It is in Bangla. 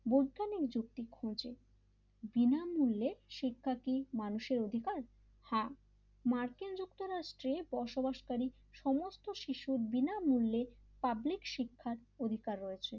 বৈজ্ঞানিক যুক্তি খুঁজে বিনামূল্যে শিক্ষা কি মানুষের অধিকার হ্যাঁ মার্কিন যুক্তরাষ্ট বসবাসকারী সমস্ত শিশুর বিনামূল্যে পাবলিক শিক্ষার অধিকার রয়েছে l